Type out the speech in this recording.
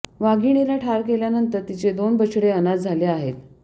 वाघिणीला ठार केल्यानंतर तिचे दोन बछडे अनाथ झाले आहेत